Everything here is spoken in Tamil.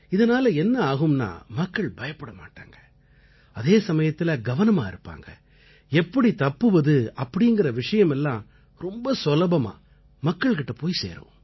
இதனால என்ன ஆகும்னா மக்கள் பயப்பட மாட்டாங்க அதே சமயத்தில கவனமா இருப்பாங்க எப்படி தப்புவது அப்படீங்கற விஷயமெல்லாம் ரொம்ப சுலபமா மக்கள் கிட்ட போய் சேரும்